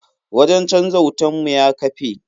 Wajen canja wutan mu ya kafe.